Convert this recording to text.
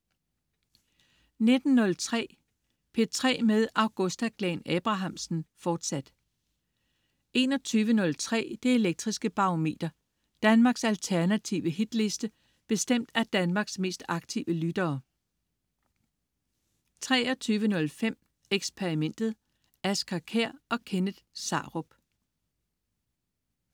19.03 P3 med Augusta Glahn-Abrahamsen, fortsat 21.03 Det Elektriske Barometer. Danmarks alternative hitliste bestemt af Danmarks mest aktive lyttere 23.05 Xperimentet. Asger Kjær og Kenneth Sarup